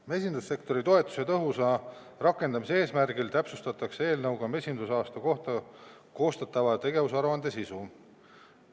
Mesindussektori toetuse tõhusa rakendamise eesmärgil täpsustatakse eelnõuga mesindusaasta kohta koostatava tegevusaruande sisu.